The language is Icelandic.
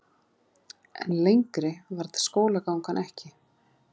En lengri varð skólagangan ekki.